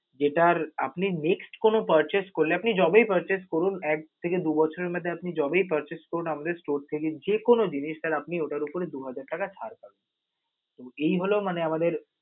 যেটার আপনি next কোনো purchase করতে পারলে, আপনি যবেই purchase করুন, এক থেকে দু বছরের মধ্যে আপনি যবেই purchase করুণ আমাদের store থেকে যে কোনো জিনিস আপনি ওটার উপরে দু হাজার টাকা ছাড় পাবেন. এই হলো মানে আমাদের